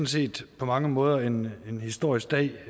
set på mange måder en en historisk dag